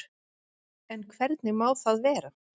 En hvernig má það vera?